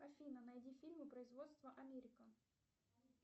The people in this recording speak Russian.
афина найди фильмы производства америка